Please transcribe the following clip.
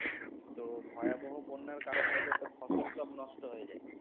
তো ভয়াবহ বন্যার কারণে এদের সব ফসল সব নষ্ট হয়ে যায়।